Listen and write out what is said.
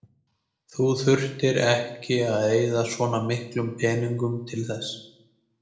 Þú þurftir nú ekki að eyða svona miklum peningum til þess.